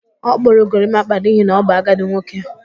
Ọ kpụrụ gorimakpa n'ihi na ọ bụ agadi nwoke